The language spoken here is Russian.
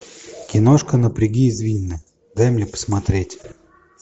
киношка напряги извилины дай мне посмотреть